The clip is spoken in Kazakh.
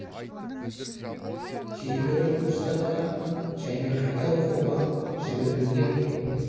кейбірі курстарға және қайта оқуға жіберілген